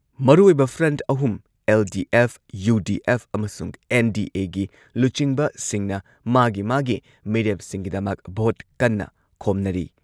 ꯃꯔꯨꯑꯣꯏꯕ ꯐ꯭ꯔꯟꯠ ꯑꯍꯨꯝ LDF, UDF ꯑꯃꯁꯨꯡ ꯑꯦꯟ.ꯗꯤ.ꯑꯦꯒꯤ ꯂꯨꯆꯤꯡꯕꯁꯤꯡꯅ ꯃꯥꯒꯤ ꯃꯥꯒꯤ ꯃꯤꯔꯦꯞꯁꯤꯡꯒꯤꯗꯃꯛ ꯚꯣꯠ ꯀꯟꯅ ꯈꯣꯝꯅꯔꯤ꯫